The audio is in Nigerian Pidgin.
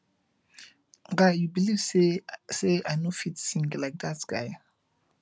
guy you believe say say i no fit sing like dat guy